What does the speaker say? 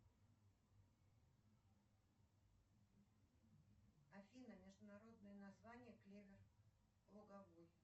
афина международное название клевер луговой